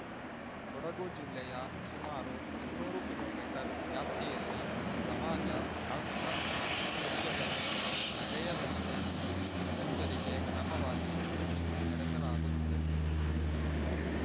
ಕೊಡಗು ಜಿಲ್ಲೆಯ ಸುಮಾರು ಇನ್ನೂರು ಕಿಲೋ ಮೀಟರ್ ವ್ಯಾಪ್ತಿಯಲ್ಲಿ ಸಮಾಜ ಘಾತುಕ ಕೃತ್ಯಗಳು ನಡೆಯದಂತೆ ಮುನ್ನೆಚ್ಚರಿಕೆ ಕ್ರಮವಾಗಿ ಕೂಂಬಿಂಗ್ ನಡೆಸಲಾಗುತ್ತಿದೆ